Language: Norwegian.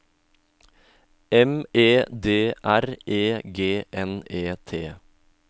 M E D R E G N E T